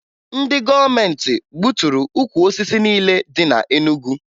Ndị gọọmentị gbuturu ukwu osisi niile dị na Enugu